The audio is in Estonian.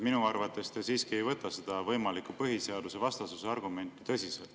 Minu arvates te siiski ei võta seda võimalikku põhiseadusvastasuse argumenti tõsiselt.